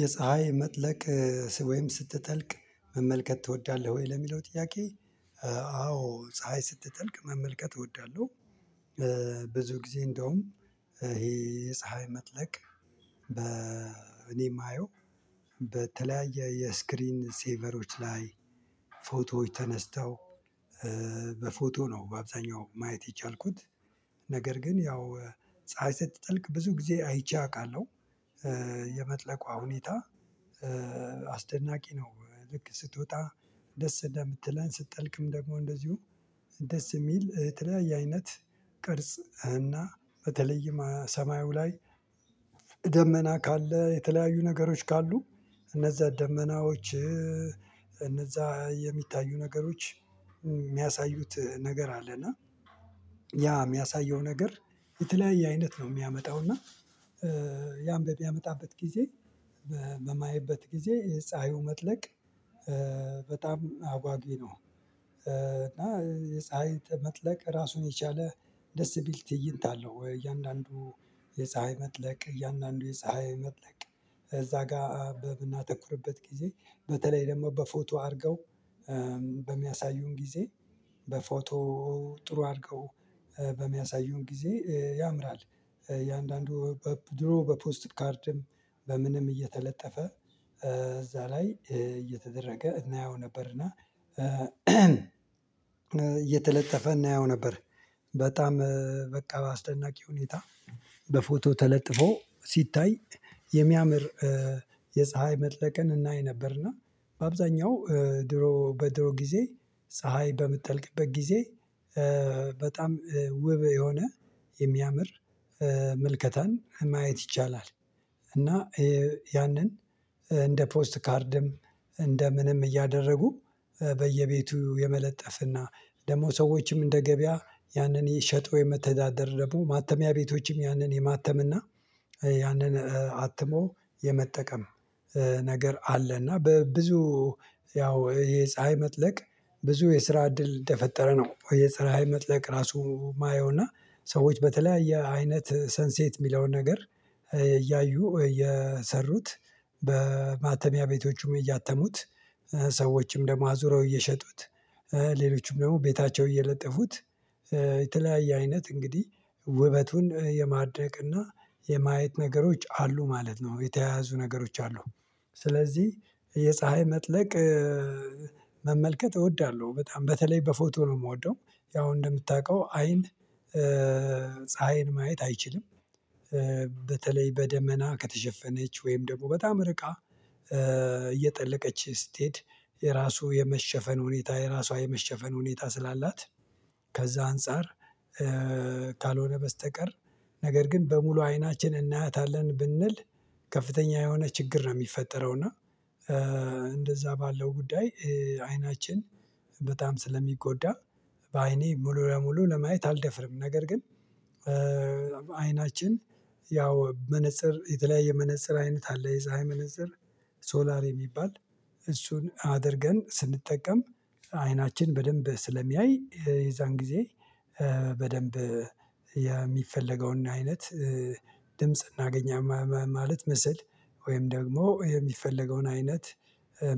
የፀሀይ መጥለቅ ወይም ስትጠልቅ መመልከት ትወዳለህ ወይ ለሚለው ጥያቄ? አዎ ፀሀይ ስትጠልቅ መመልከት እወዳለሁ። ብዙ ጊዜ እንደውም። ይሄ ፀሀይ መጥለቅ በ እኔ የማየው በተለያየ የስክሪን ሴቨሮች ላይ ፎቶዎች ተነስተው በፎቶ ነው በአብዛኛው ማየት የቻልኩት። ነገር ግን ያው ፀሀይ ስትጠልቅ ብዙ ጊዜ አይቼ አውቃለሁ። የመጥለቋ ሁኔታ አስደናቂ ነው። ልክ ስትወጣ ደስ እንደምትለን ስትጠልቅም ደግሞ እንደዚሁ ደስ የሚል የተለያየ አይነት ቅርጽ እና በተለይም ሰማዩ ላይ። ደመና ካለ የተለያዩ ነገሮች ካሉ እነዛ ደመናዎች እነዛ የሚታዩ ነገሮች የሚያሳዩት ነገር አለና። ያ የሚያሳየው ነገር የተለያየ አይነት ነው የሚያመጣው እና። ያን በሚያመጣበት ጊዜ በማየበት ጊዜ የፀሀዩ መጥለቅ በጣም አጓጊ ነው። እና የፀሀይ መጥለቅ ራሱን የቻለ ደስ ሚል ትይንት አለው። እያንዳንዱ የፀሀይ መጥለቅ እያንዳንዱ የፀሀይ መጥለቅ። እዛ ጋር በምናተኩርበት ጊዜ በተለይ ደግሞ በፎቶ አድርገው በሚያሳዩን ጊዜ በፎቶ ጥሩ አድርገው በሚያሳዩን ጊዜ ያምራል። እንዳንዱ ድሮ በፖስት ካርድም በምንም እየተለጠፈ እዛ ላይ እየተደረገ እናየው ነበርና። እየተለጠፈ እናየው ነበር። በጣም በቃ በአስደናቂ ሁኔታ በፎቶ ተለጥፎ ሲታይ የሚያምር የፀሀይ መጥለቅን እናይ ነበር። እና በአብዛኛው ድሮ በድሮ ጊዜ ፀሀይ በምትጠልቅበት ጊዜ በጣም ውብ የሆነ የሚያምር ምልከታን ማየት ይቻላል። እና ያንን እንደ ፖስት ካርድም እንደ ምንም እያደረጉ በየቤቱ የመለጠፍና ደግሞ ሰዎችም እንደ ገበያ ያንን እየሸጡ የመተዳደር ደግሞ ማተሚያ ቤቶችም ያንን የማተም እና ያንን አትሞ የመጠቀም ነገር አለ። እና በብዙ ያው ይሄ ፀሀይ መጥለቅ ብዙ የስራ እድል እንደፈጠረ ነው። የፀሀይ መጥለቅ ራሱ የማየው እና ሰዎች በተለያየ አይነት ሰንሴት የሚለውን ነገር። እያዩ የሰሩት በማተሚያ ቤቶቹም እያተሙት ሰዎችም ደግሞ አዙረው እየሸጡት ሌሎችም ደግሞ ቤታቸው እየለጠፉት። የተለያየ አይነት እንግዲህ ውበቱን የማድረቅና የማየት ነገሮች አሉ ማለት ነው የተያያዙ ነገሮች አሉ። ስለዚህ የፀሀይ መጥለቅ መመልከት እወዳለሁ በጣም በተለይ በፎቶ ነው የምወደው። ያው እንደምታውቀው አይን ፀሀይን ማየት አይችልም። በተለይ በደመና ከተሸፈነች ወይም በጣም ርቃ እየጠለቀች ስትሄድ የራሱ የመሸፈን ሁኔታ የራሷ የመሸፈን ሁኔታ ስላላት ከዛ አንፃር። ካልሆነ በስተቀር ነገር ግን በሙሉ አይናችን እናያታለን ብንል ከፍተኛ የሆነ ችግር ነው የሚፈጠረው እና። እንደዛ ባለው ጉዳይ አይናችን በጣም ስለሚጎዳ በአይኔ ሙሉ ለሙሉ ለማየት አልደፍርም ነገር ግን። አይናችን ያው መነፀር የተለያየ መነፀር አይነት አለ የፀሀይ መነፀር ሶላር የሚባል እሱን አድርገን ስንጠቀም አይናችን በደንብ ስለሚያይ የዛን ጊዜ። በደንብ የሚፈለገውን አይነት ድምጽ እናገኛለን ማለት ምስል ወይም ደግሞ የሚፈለገውን አይነት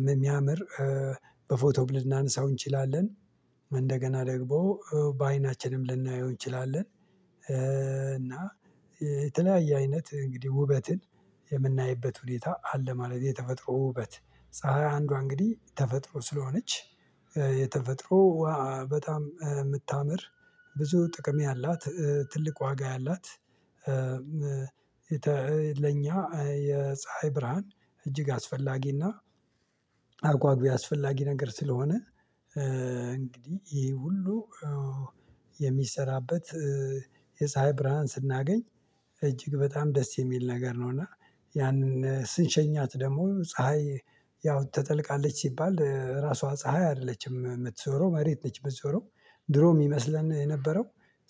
የሚያምር በፎቶ ልናነሳው እንችላለን። እንደገና ደግሞ በአይናችንም ልናየው እንችላለን። እና የተለያየ አይነት እንግዲህ ውበትን የምናይበት ሁኔታ አለ። ማለት የተፈጥሮ ውበት ፀሀይ አንዷ እንግዲህ ተፈጥሮ ስለሆነች። የተፈጥሮ ውሃ በጣም የምታምር ብዙ ጥቅም ያላት ትልቅ ዋጋ ያላት። ለኛ የፀሀይ ብርሃን እጅግ አስፈላጊና አጔጊ አስፈላጊ ነገር ስለሆነ። እንግዲህ ይሄ ሁሉ የሚሰራበት የፀሀይ ብርሃን ስናገኝ እጅግ በጣም ደስ የሚል ነገር ነው። እና ያንን ስንሸኛት ደግሞ ፀሀይ ያው ትጠልቃለች ሲባል ራሷ ፀሀይ አይደለችም የምትዞረው መሬት ነች የምትዞረው ድሮ የሚመስለን የነበረው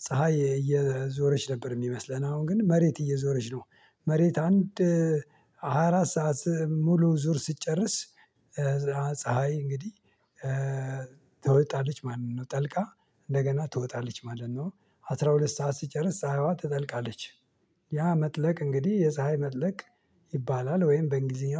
ፀሀይ እየዞረች ነበር የሚመስለን አሁን ግን መሬት እየዞረች ነው። መሬት አንድ አራት ሰዓት ሙሉ ዙር ስትጨርስ። ፀሀይ እንግዲህ ትወጣለች ማለት ነው። ጠልቃ እንደገና ትወጣለች ማለት ነው። አስራ ሁለት ሰዓት ስትጨርስ ፀሀይዋ ትጠልቃለች። ያ መጥለቅ እንግዲህ የፀሀይ መጥለቅ ይባላል ወይም በእንግሊዝኛ